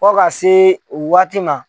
Fɔ ka se waati ma.